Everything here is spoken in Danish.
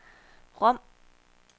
Rom